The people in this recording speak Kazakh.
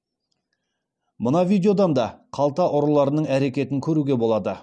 мына видеодан да қалта ұрыларының әрекетін көруге болады